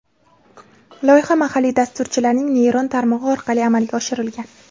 Loyiha mahalliy dasturchilarning neyron tarmog‘i orqali amalga oshirilgan.